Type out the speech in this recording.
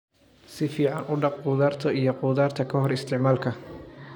Si fiican u dhaq khudaarta iyo khudaarta ka hor isticmaalka.